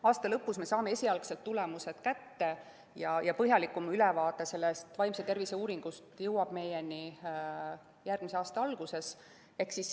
Aasta lõpus me saame esialgsed tulemused kätte ja põhjalikum ülevaade sellest vaimse tervise uuringust jõuab meie kätte järgmise aasta alguses.